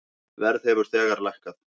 Verð hefur þegar lækkað.